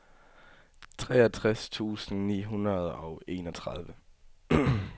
treogtres tusind ni hundrede og enogtredive